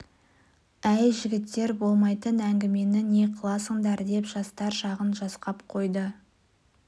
әй жігіттер болмайтын әңгімені не қыласыңдар деп жастар жағын жасқап қойды